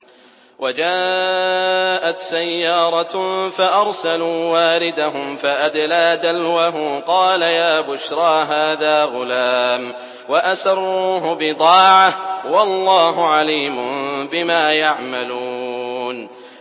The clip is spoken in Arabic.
وَجَاءَتْ سَيَّارَةٌ فَأَرْسَلُوا وَارِدَهُمْ فَأَدْلَىٰ دَلْوَهُ ۖ قَالَ يَا بُشْرَىٰ هَٰذَا غُلَامٌ ۚ وَأَسَرُّوهُ بِضَاعَةً ۚ وَاللَّهُ عَلِيمٌ بِمَا يَعْمَلُونَ